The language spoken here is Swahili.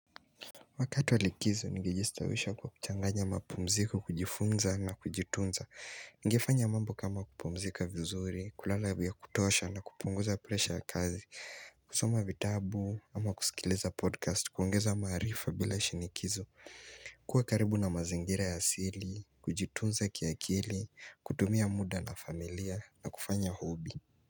Wakati wa likizo, nilijistawisha kwa kuchanganya mapumziko, kujifunza na kujitunza Ningefanya mambo kama kupumzika vizuri, kulala vya kutosha na kupunguza presha ya kazi kusoma vitabu, ama kusikiliza podcast, kuongeza maarifa bila shinikizo kuwa karibu na mazingira ya asili, kujitunza kiakili, kutumia muda na familia na kufanya hobby.